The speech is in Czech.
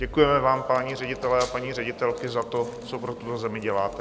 Děkujeme vám, páni ředitelé a paní ředitelky, za to, co pro tuto zemi děláte.